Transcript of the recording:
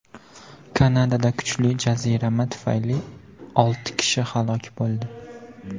Kanadada kuchli jazirama tufayli olti kishi halok bo‘ldi.